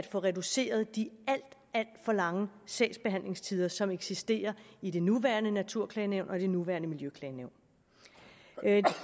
få reduceret de alt alt for lange sagsbehandlingstider som eksisterer i det nuværende naturklagenævn og det nuværende miljøklagenævn